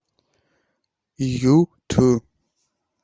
юту